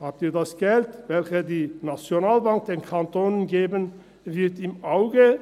Haben Sie das Geld, das die Nationalbank den Kantonen geben wird, im Auge?